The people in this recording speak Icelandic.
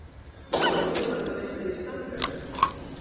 Norðurlandameistari í stangarstökki